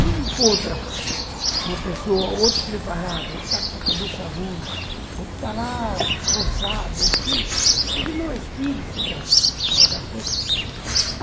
Você encontra uma pessoa ou outro despreparado, ou que está com a cabeça ruim, ou que está lá forçado, ou porque aquilo não é espírito da coisa.